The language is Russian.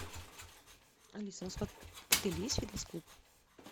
алиса у нас в отеле есть фитнес клуб